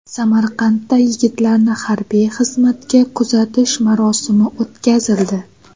Samarqandda yigitlarni harbiy xizmatga kuzatish marosimi o‘tkazildi.